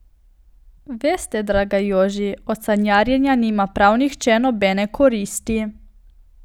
Veste, draga Joži, od sanjarjenja nima prav nihče nobene koristi.